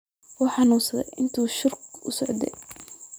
Wuu xanuunsaday intii shirku socday.